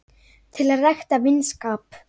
til að rækta vinskap